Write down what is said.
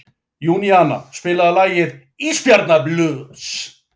Júníana, spilaðu lagið „Ísbjarnarblús“.